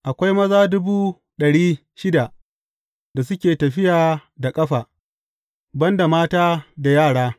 Akwai maza dubu ɗari shida da suke tafiya da ƙafa, ban da mata da yara.